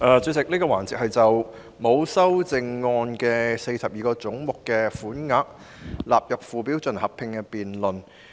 主席，這個環節是就42個沒有修正案的總目的款額納入附表進行合併辯論。